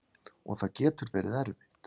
Og það getur verið erfitt.